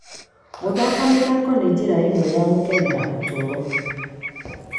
Gúthaka míthako nĩ njĩra ĩmwe ya gũkenera ũtũũro.